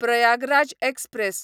Prayagraj express